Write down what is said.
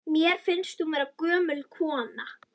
Mér finnst hún vera gömul kona.